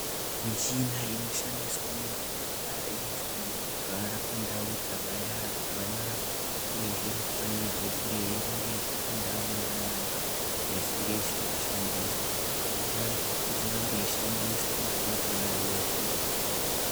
Michina inoshandiswe muzvipatara inofanira kugara pandau dzakanaka uyezve inofanirwe kunge yeirongedzwa pandau dzakanaka kana isinga isiri kushandiswa kuitirani kuti izorambe yeishandiswa kwenguwa refu.